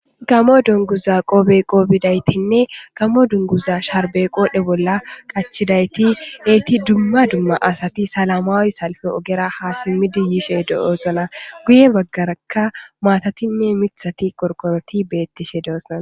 gamo dunguza qoppe qoppidayitinne gamo dunguza sharbe qodhe bolla qachidayti eti dumma dumma asati salamaawi salfe ogera ha yishe simmidi yishe de'oosona guye baggaraka maatatinne miththati qorqoroti beettishe doosana